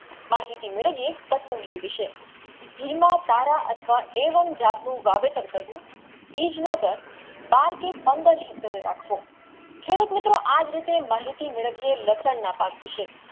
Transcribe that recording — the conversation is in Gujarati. માહિતી મેલાવિયે કસુંદી વિશે હિલમાં પર અથવા એવમ જતું વાવેતર કરવું બીજ વગર બાર કે પંદર Heater એ રાખવો ખેડૂત મિત્રો આજ રીતે માહિતી મેળવીયે લસણના પાક વિશે